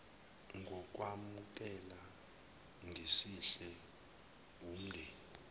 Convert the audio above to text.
ngokwamukela ngesihle wumndeni